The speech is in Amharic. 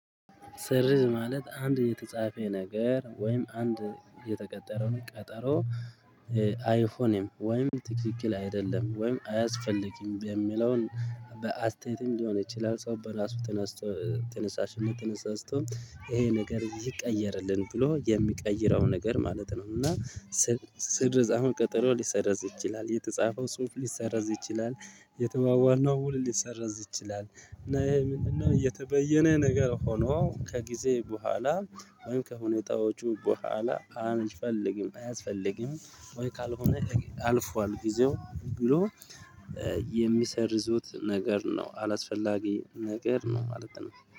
ሰርዝ ማለት አንድ የተጻፈ ነገር ወይም አንድ የተቀጠረውን ቀጠሮ አይሆንም ወይም ትክክል አይደለም ወይም አያስፈልግም በሚለው በአስተያየትም ሊሆን ይችላል ሰው በራሱ ተነስቶ ተነሳሽነት ተነሳስቶ ይሄ ነገር ይቀየርልን ብሎ የሚቀይረው ነገር ማለት ነው። እና ሰርዝ አሁን ቀጠሮ ሊሰረዝ ይችላል የተጻፈው ጽሁፍ ሊሰረዝ ይችላል። የተባባልነው ውል ሊሰራዝ ይችላል እና ይሄ ምንድነው የተበየነ ነገር ሆኖ ከጊዜ በኋላ ወይም ከሁኔታዎቹ በኋላ አንፈልግም አያስፈልግም? ወይ ካልሆነ አልፏል ጊዜው ብሎ የሚሰርዙት ነገር ነው አላስፈላጊ ነገር ነው ማለት ነው